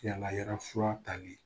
yamaruyala fura tali